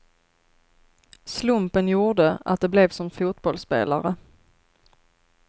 Slumpen gjorde att det blev som fotbollsspelare.